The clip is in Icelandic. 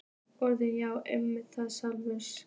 Orð.- Já, einmitt, það er sjálfsagt.